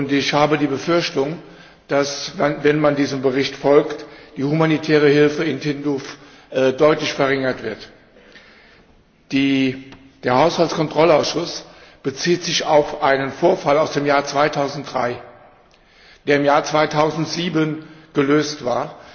Ich habe die Befürchtung, dass, wenn man diesem Bericht folgt, die humanitäre Hilfe in Tindouf deutlich verringert wird. Der Haushaltskontrollausschuss bezieht sich auf einen Vorfall aus dem Jahr 2003, der im Jahr 2007 gelöst war.